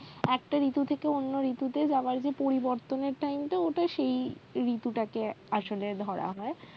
একটা ঋতু থেকে অন্য ঋতুতে যাওয়ার যে পরিবর্তনের time টা ওটা সেই ঋতুটাকে আসলে ধরা হয়